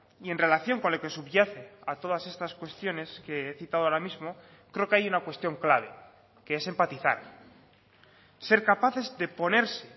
y en relación con lo que subyace a todas estas cuestiones que he citado ahora mismo creo que hay una cuestión clave que es empatizar ser capaces de ponerse